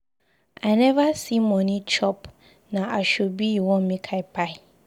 I neva see moni chop na asoebi una want make I buy.